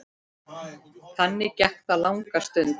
Þannig gekk það langa stund.